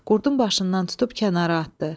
Qurdun başından tutub kənara atdı.